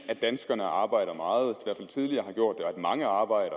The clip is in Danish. at danskerne arbejder og at mange arbejder